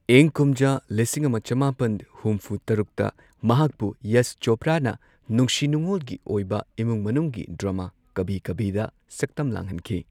ꯏꯪ ꯀꯨꯝꯖꯥ ꯂꯤꯁꯤꯡ ꯑꯃ ꯆꯃꯥꯄꯟ ꯍꯨꯝꯐꯨ ꯇꯔꯨꯛꯇ ꯃꯍꯥꯛꯄꯨ ꯌꯁ ꯆꯣꯄ꯭ꯔꯥꯅ ꯅꯨꯡꯁꯤ ꯅꯨꯡꯑꯣꯜꯒꯤ ꯑꯣꯏꯕ ꯏꯃꯨꯡ ꯃꯅꯨꯡꯒꯤ ꯗ꯭ꯔꯥꯃꯥ ꯀꯚꯤ ꯀꯚꯤꯗ ꯁꯛꯇꯝ ꯂꯥꯡꯍꯟꯈꯤ꯫